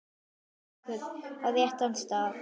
Haukur: Á réttan stað?